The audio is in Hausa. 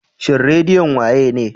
Shin redion wa ye ne?